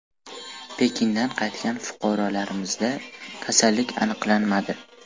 Pekindan qaytgan fuqarolarimizda kasallik aniqlanmadi .